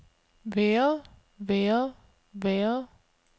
været været været